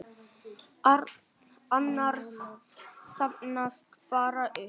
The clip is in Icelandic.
Annars safnast hann bara upp.